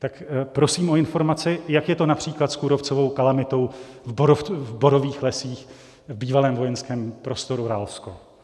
Tak prosím o informaci, jak je to například s kůrovcovou kalamitou v borových lesích v bývalém vojenském prostoru Ralsko.